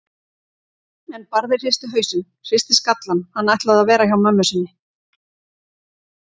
En Barði hristi hausinn, hristi skallann, hann ætlaði að vera hjá mömmu sinni.